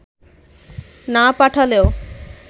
না পাঠালেও